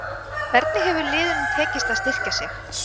Hvernig hefur liðunum tekist að styrkja sig?